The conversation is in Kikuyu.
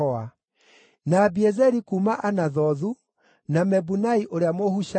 na Abiezeri kuuma Anathothu, na Mebunai ũrĩa Mũhushathi,